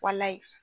Walayi